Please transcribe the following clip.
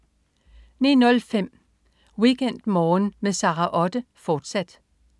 09.05 WeekendMorgen med Sara Otte, fortsat